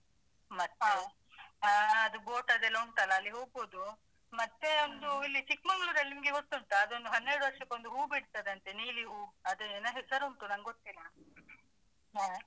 ಮತ್ತೆ ಅಹ್ ಅದು ಬೊಟದೆಲ್ಲಾ ಉಂಟಲ್ಲಾ ಅಲ್ಲಿ ಹೋಗ್ಬೋದು. ಮತ್ತೆ ಒಂದು ಇಲ್ಲಿ ಚಿಕ್ಮಂಗ್ಳೂರಲ್ಲಿ ನಿಮಗೆ ಗೊತ್ತುಂಟಾ? ಅದೊಂದು ಹನ್ನೆರಡು ವರ್ಷಕ್ಕೊಂದು ಹೂ ಬಿಡ್ತದಂತೆ ನೀಲಿ ಹೂ, ಅದೇನಾ ಹೆಸರುಂಟು ನಂಗ್ಗೊತ್ತಿಲ್ಲ. ನೀವ್ ಕೇಳಿದಿರಾ ಅದ್ರ ಬಗ್ಗೆ?